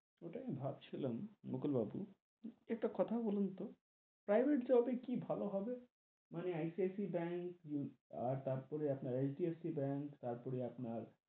ওটাই আমি ভাবছিলাম মুকুল বাবু, একটা কথা বলুন তো, private job এ কি ভালো হবে? মানে ICICI ব্যাঙ্ক, তার পরে HDFC ব্যাঙ্ক তার পরে আপনার,